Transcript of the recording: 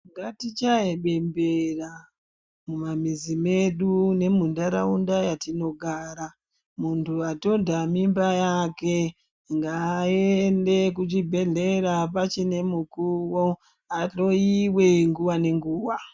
Ngatichaye bembera mumamhizi medu nemundaraunda yatinogara muntu andonda mimba yake ngaende kuchibhedhlera pachine mukuwo ahloiwe nguwa ngenguwa.